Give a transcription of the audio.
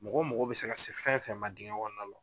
Mɔgɔ mago bɛ se ka se fɛn fɛn ma dingɛ kɔnɔna la